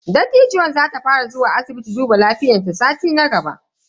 Dattijuwan za ta fara zuwa asibiti duba lafiyan ta a sati na gaba.